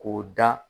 K'o da